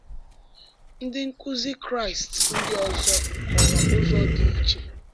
Ndị nkuzi Kraịst ndị ọzọ họọrọ ụzọ dị iche.